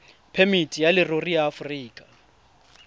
phemiti ya leruri ya aforika